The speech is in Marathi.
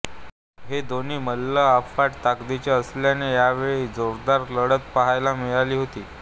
हे दोन्ही मल्ल अफाट ताकदीचे असल्याने यावेळी जोरदार लढत पाहायला मिळाली होती